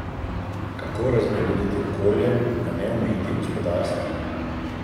Kako razbremeniti okolje, a ne omejiti gospodarstva?